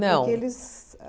Não. Porque eles